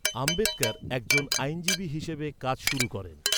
আম্বেদকর একজন আইনজীবী হিসেবে কাজ শুরু করেন।